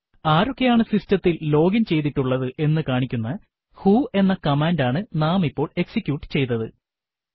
ആരൊക്കെയാണ് സിസ്റ്റത്തിൽ ലോഗിൻ ചെയ്തിട്ടുള്ളത് എന്നു കാണിക്കുന്ന വ്ഹോ എന്ന കമാൻഡ് ആണ് നാം ഇപ്പോൾ എക്സിക്യൂട്ട് ചെയ്തത്